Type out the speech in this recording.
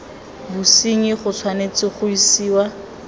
bosenyi go tshwanetse ga isiwa